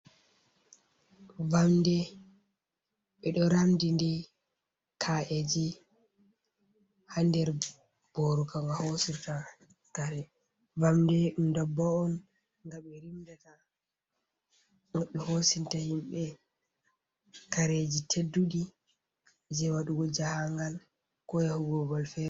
Vamde, ɓe ɗo ramdi nde ka’eji ha nder boro ka nga hosirta kare. Vamde ɗum ndabbawa on nga ɓe rimɗata, ɗum ɓe hosinta himɓe kareji tedduɗi jei waɗugo jahangal, ko yahugo babal fere.